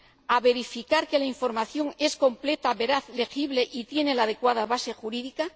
a verificar que la información es completa, veraz y legible y tiene la adecuada base jurídica.